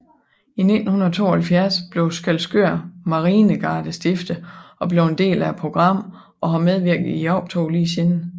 I 1972 blev Skælskør Marinegarde stiftet og blev en del af programmet og har medvirket i optoget lige siden